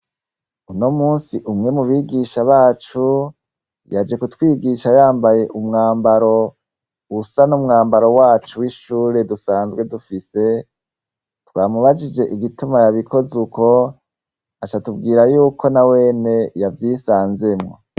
Unomunsi umwe mubigisha bacu yaje kutwigisha yambaye umwambaro usa n' umwambaro wacu w' ishure dusanzwe dufise twamubajije igituma yabikoze uko aca atubwira yuko nawene yavyisanzemwo.